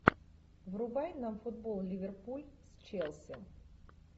врубай нам футбол ливерпуль с челси